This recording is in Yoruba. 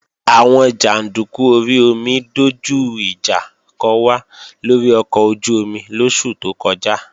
Àwọn jàndúkú orí omi dojú ìjà kò wá lórí ọkọ̀ ojú-omi lóṣù tó kọjá